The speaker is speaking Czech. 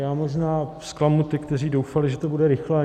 Já možná zklamu ty, kteří doufali, že to bude rychle.